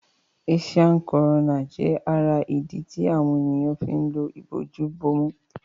Àìsàn corona jé ará idí tí àwọn ènìyàn fín ló Ìbojú-bomú